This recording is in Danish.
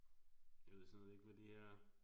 Jeg ved simpelthen ikke hvad de her er